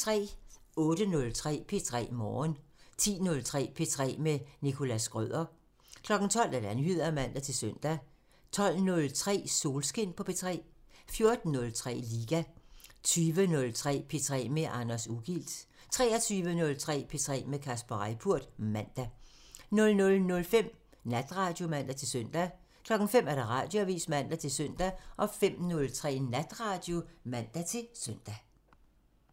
08:03: P3 Morgen 10:03: P3 med Nicholas Schrøder 12:00: Nyheder (man-søn) 12:03: Solskin på P3 14:03: Liga 20:03: P3 med Anders Ugilt 23:03: P3 med Kasper Reippurt (man) 00:05: Natradio (man-søn) 05:00: Radioavisen (man-søn) 05:03: Natradio (man-søn)